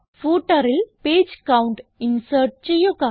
Footerൽ page count insert ചെയ്യുക